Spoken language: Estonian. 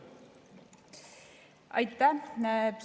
Aitäh!